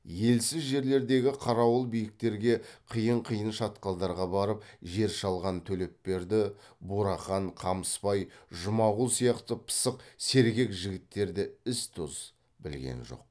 елсіз жерлердегі қарауыл биіктерге қиын қиын шатқалдарға барып жер шалған төлепберді бурахан қамысбай жұмағұл сияқты пысық сергек жігіттер де із тоз білген жоқ